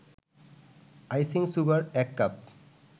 icing sugar ১ cup